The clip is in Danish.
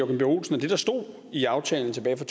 b olsen at det der stod i aftalen tilbage